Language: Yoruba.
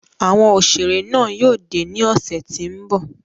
Awọn oṣere náa yóò de ni ọsẹ ti n bọ